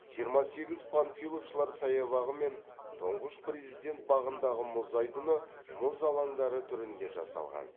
жиырма сегіз панфиловшылар саябағы мен тұңғыш президент бағындағы мұз айдыны мұз алаңдары түрінде жасалған